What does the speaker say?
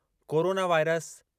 corona virus